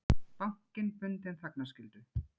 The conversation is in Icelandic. Bankinn bundinn þagnarskyldu